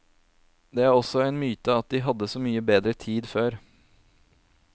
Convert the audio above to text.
Det er også en myte at de hadde så mye bedre tid før.